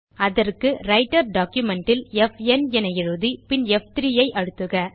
அதற்கு writer document ல் ப் ந் என எழுதி பின் ப்3 ஐ அழுத்துக